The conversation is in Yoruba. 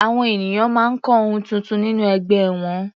Àwọn ènìyàn máa ń kọ́ ohun tuntun nínú ẹgbẹ́ wọn.